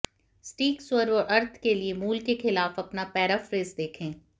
सटीक स्वर और अर्थ के लिए मूल के खिलाफ अपना पैराफ्रेज देखें